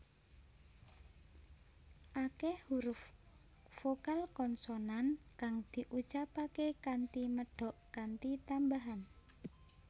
Akeh huruf vokal konsonan kang diucapake kanthi medhok kanthi tambahan